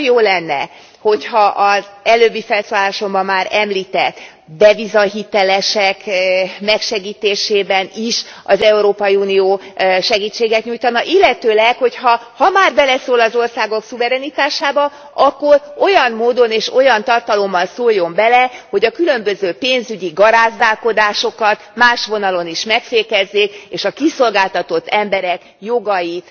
Nagyon jó lenne, hogyha az előbbi felszólalásomban már említett devizahitelesek megsegítésében is az Európai Unió segítséget nyújtana, illetőleg, hogy ha már beleszól az országok szuverenitásába, akkor olyan módon és olyan tartalommal szóljon bele, hogy a különböző pénzügyi garázdálkodásokat más vonalon is megfékezzék, és a kiszolgáltatott emberek jogait